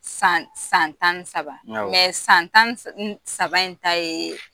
San san tan ni saba san tan ni saba in ta ye